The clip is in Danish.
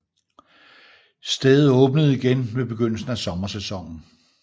Stedet åbnede igen ved begyndelsen af sommersæsonen